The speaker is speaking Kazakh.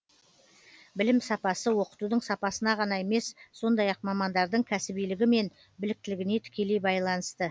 білім сапасы оқытудың сапасына ғана емес сондай ақ мамандардың кәсібилігі мен біліктілігіне тікелей байланысты